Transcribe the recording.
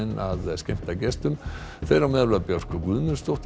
að skemmta gestum þeirra á meðal Björk Guðmundsdóttir